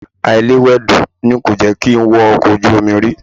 Àìlewẹdò ni kò jẹ́ kí n wọ ọkọ̀ ojú omi rí